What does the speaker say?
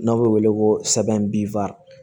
N'a b'o wele ko